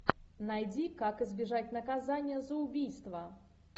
найди как избежать наказания за убийство